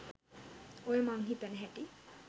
ඔය මන් හිතන හැටි